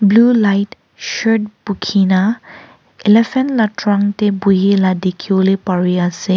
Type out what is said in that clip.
blue light shirt buki na elephant lah trunk teh bohila dikhi bole pari ase.